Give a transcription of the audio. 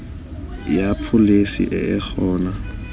ya pholesi e e gona